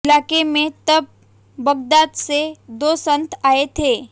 इलाके में तब बगदाद से दो संत आए थे